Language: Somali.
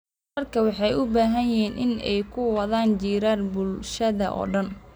Waraabka waxa uu u baahan yahay in ay ku wada jiraan bulshada oo dhan.